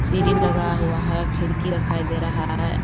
सीढ़ी लगा हुआ है खिड़की दिखाई दे रहा है।